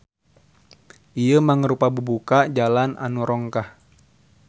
Ieu mangrupa bubuka jalan anu rongkah.